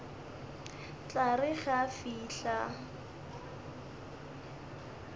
tla re ge a fihla